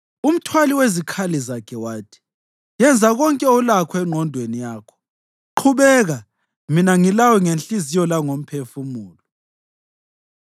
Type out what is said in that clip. Umthwali wezikhali zakhe wathi, “Yenza konke olakho engqondweni yakho. Qhubeka, mina ngilawe ngenhliziyo langomphefumulo.”